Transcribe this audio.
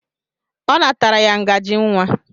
Ọ natara ya ngajị nwa.